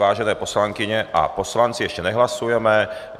Vážené poslankyně a poslanci, ještě nehlasujeme.